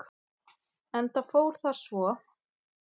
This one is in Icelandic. Enda fór það svo.